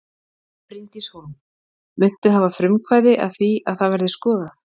Bryndís Hólm: Muntu hafa frumkvæði að því að það verði skoðað?